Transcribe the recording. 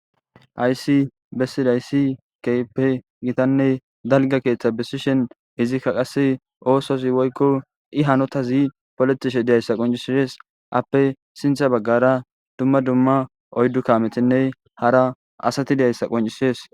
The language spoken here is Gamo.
aysi bessidayssi kpe gitanne dalga keeththa besishen izikka qase oososi woykko i hanotazi polotishe diyayssa qoncisides appe sintha baggara dumma dumma oyddu kametinne hara asati diyayssa qoncisees